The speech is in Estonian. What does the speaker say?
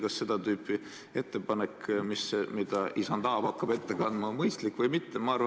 Kas seda tüüpi ettepanek, mida isand Aab hakkab ette kandma, on mõistlik või mitte?